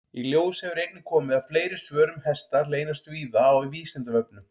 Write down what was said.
Í ljós hefur einnig komið að fleiri svör um hesta leynast víða á Vísindavefnum.